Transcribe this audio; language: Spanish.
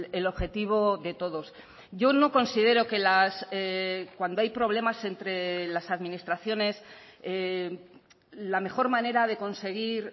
el objetivo de todos yo no considero que cuando hay problemas entre las administraciones la mejor manera de conseguir